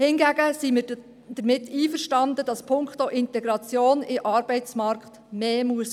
Hingegen sind wir damit einverstanden, dass punkto Integration in den Arbeitsmarkt mehr geschehen muss.